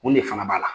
Mun de fana b'a la